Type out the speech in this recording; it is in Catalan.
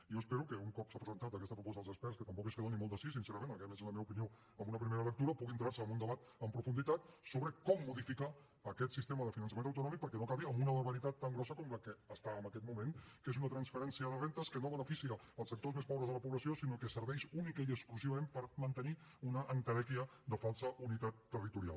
i jo espero que un cop s’ha presentat aquesta proposta als experts que tampoc és que doni molt de si sincerament aquesta almenys és la meva opinió amb una primera lectura pugui entrar se en un debat amb profunditat sobre com modificar aquest sistema de finançament autonòmic perquè no acabi amb una barbaritat tan grossa com la que està en aquest moment que és una transferència de rendes que no beneficia els sectors més pobres de la població sinó que serveix únicament i exclusivament per mantenir una entelèquia de falsa unitat territorial